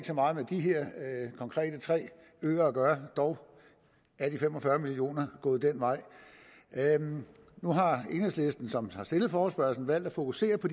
så meget med de her tre øer at gøre dog er de fem og fyrre million kroner gået den vej nu har enhedslisten som har stillet forespørgslen valgt at fokusere på